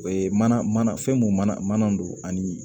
O ye mana mana fɛn mun mana don ani